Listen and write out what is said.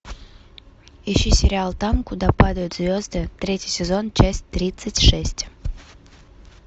ищи сериал там куда падают звезды третий сезон часть тридцать шесть